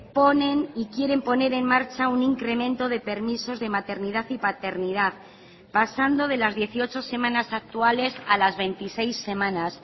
ponen y quieren poner en marcha un incremento de permisos de maternidad y paternidad pasando de las dieciocho semanas actuales a las veintiséis semanas